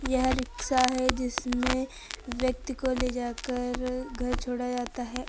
यह रिक्शा है जिसमें व्यक्ति को ले जाकर घर छोड़ा जाता है।